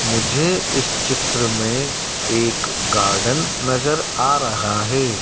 मुझे इस चित्र में एक गार्डन नजर आ रहा है।